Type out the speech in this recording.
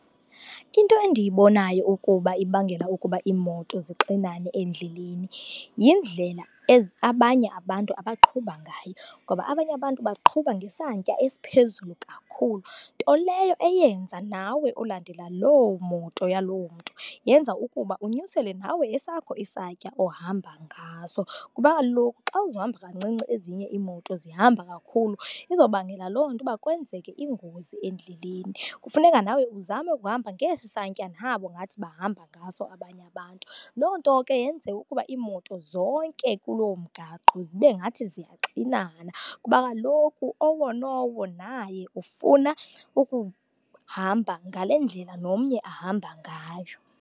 Into endiyibonayo ukuba ibangela ukuba iimoto zixinane endleleni, yindlela abanye abantu abaqhuba ngayo. Ngoba abanye abantu baqhuba ngesantya esiphezulu kakhulu, nto leyo eyenza nawe olandela loo moto yaloo mntu, yenza ukuba unyusele nawe esakho isantya ohamba ngaso. Kuba kaloku xa uhamba kancinci ezinye iimoto zihamba kakhulu, izobangela loo nto uba kwenzeke ingozi endleleni. Kufuneka nawe uzame ukuhamba ngesi santya nabo ngathi bahamba ngaso abanye abantu. Loo nto ke yenze ukuba iimoto zonke kuloo mgaqo zibe ngathi ziyaxinana, kuba kaloku owo nowo naye ufuna ukuhamba ngale ndlela nomnye ahamba ngayo.